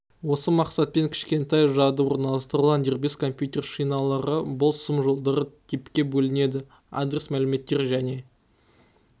осы мақсатпен кішкентай жады орналастырылған дербес компьютер шиналары бұл сым-жолдары типке бөлінеді адрес мәліметтер және